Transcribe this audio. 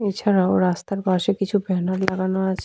এছাড়াও রাস্তার পাশে কিছু ব্যানার লাগানো আছে।